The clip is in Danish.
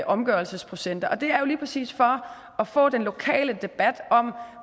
omgørelsesprocenter det er jo lige præcis for at få den lokale debat om